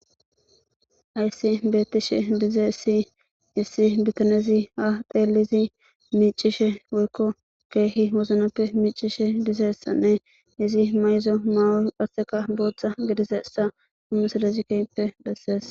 Hyssi beettishe dize si issi bitanezi ha teelizi miicishe woykko keehi woznappe miicishe dizeessanne izi mayzo maawo phasseka booththa gidiseessa humesalezikeppe bessees